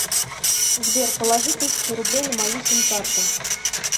сбер положи тысячу рублей на мою сим карту